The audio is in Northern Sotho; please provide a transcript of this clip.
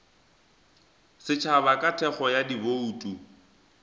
setšhaba ka thekgo ya dibouto